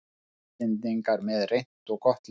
Íslendingar með reynt og gott lið